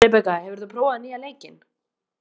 Rebekka, hefur þú prófað nýja leikinn?